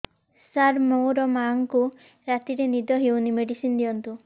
ସାର ମୋର ମାଆଙ୍କୁ ରାତିରେ ନିଦ ହଉନି ମେଡିସିନ ଦିଅନ୍ତୁ